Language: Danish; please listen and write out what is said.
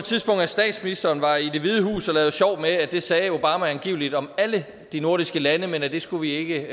statsministeren var i det hvide hus og lavede sjov med at det sagde obama angiveligt om alle de nordiske lande men at det skulle vi ikke